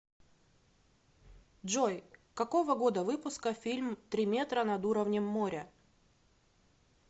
джой какого года выпуска фильм три метра над уровнем моря